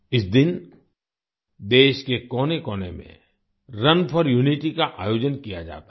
इस दिन देश के कोनेकोने में रुन फोर यूनिटी का आयोजन किया जाता है